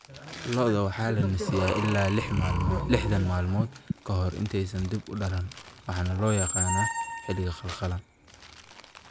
Lo'da waxaa la nasiyaa ilaa 60 maalmood ka hor intaysan dib u dhalan, waxaana loo yaqaannaa xilliga qallalan.